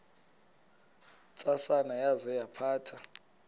ntsasana yaza yaphatha